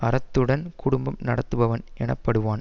அறத்துடன் குடும்பம் நடத்துபவன் எனப்படுவான்